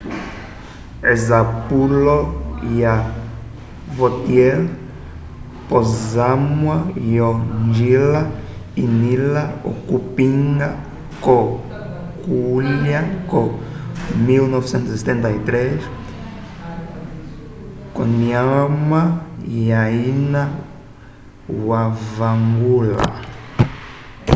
esapulo ya vautier posamwa yo njila inila okupinga co kulya ko 1973 konyima ya ina wavangula